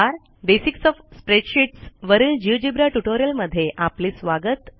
basics of spreadsheets वरीलGeogebra ट्युटोरियलमध्ये आपले स्वागत